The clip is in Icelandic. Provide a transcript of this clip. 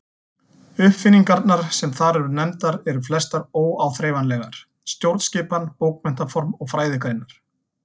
Uppfinningarnar sem þar eru nefndar eru flestar óáþreifanlegar: stjórnskipan, bókmenntaform og fræðigreinar.